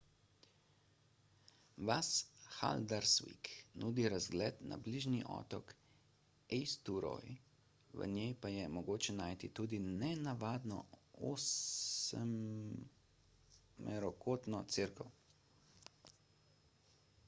vas haldarsvík nudi razgled na bližnji otok eysturoy v njej pa je mogoče najti tudi nenavadno osmerokotno cerkev